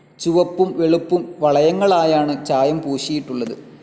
ചുവപ്പും വെളുപ്പും വളയങ്ങളായാണ് ചായം പൂശിയിട്ടുള്ളത്.